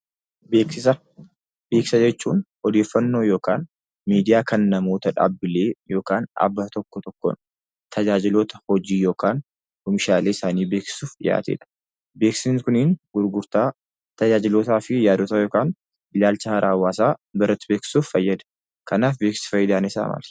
Beeksisa. Beeksisa jechuun odeeffannooo yokaan miidiyaa kan namoota dhaabbilee yokaan dhaabbata tokko tokkoon tajaajiloota hojii yokaan oomishaaleesaanii beeksisuuf dhiyaatedha. Beeksisni kunii gurgurtaa, tajaajilootaa fi yaadota yokaan ilaalcha haaraa hawaasa biratti beeksisuuf fayyada? kanaaf beeksisni faayidaan isaa maali?